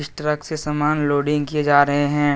Truck से सामान loading किया जा रहे हैं।